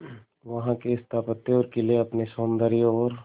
वहां के स्थापत्य और किले अपने सौंदर्य और